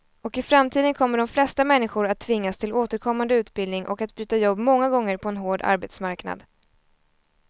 Och i framtiden kommer de flesta människor att tvingas till återkommande utbildning och att byta jobb många gånger på en hård arbetsmarknad.